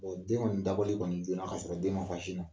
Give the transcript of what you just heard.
Ɔ den kɔni dabɔli kɔni joona k'a sɔrɔ den ma fa sin na